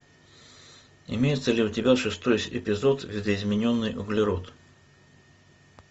имеется ли у тебя шестой эпизод видоизмененный углерод